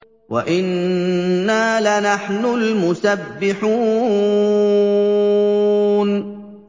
وَإِنَّا لَنَحْنُ الْمُسَبِّحُونَ